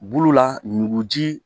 Bolola ɲugu ji